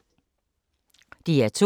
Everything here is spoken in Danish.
DR2